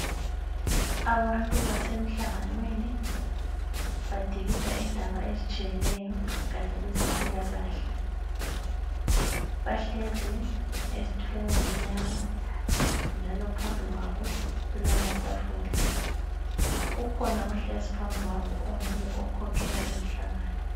Abantu basemhlanganweni badikida indaba ezitshiyeneyo kugatsha lwezempilakahle. Bahlezi ezithulweni ezimnyama ,njalo phambikwabo kulamathafula .Ukhona ohlezi phambikwabo onguye okhokhela lowumhlangano.